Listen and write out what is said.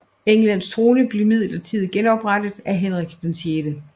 Englands trone blev midlertidigt genoprettet til Henrik 6